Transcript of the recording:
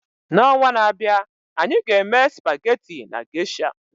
N'ọnwa na-abịa, anyị ga-eme spaghetti na Geisha.